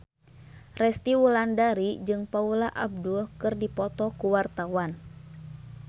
Resty Wulandari jeung Paula Abdul keur dipoto ku wartawan